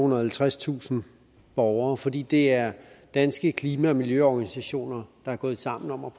og halvtredstusind borgere fordi det er danske klima og miljøorganisationer der er gået sammen om at